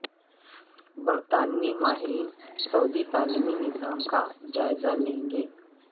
برطانوی ماہرین سعودی تعلیمی نظام کا جائزہ لیں گے